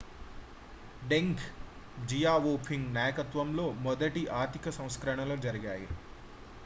డెంగ్ Xiaoping నాయకత్వంలో మొదటి ఆర్థిక సంస్కరణలు జరిగాయి